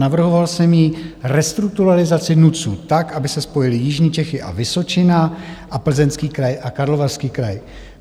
Navrhoval jsem jí restrukturalizaci NUTS tak, aby se spojily Jižní Čechy a Vysočina a Plzeňský kraj a Karlovarský kraj.